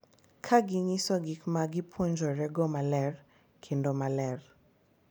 Ka ginyiso gik ma gipuonjorego maler kendo maler, .